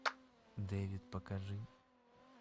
дэвид покажи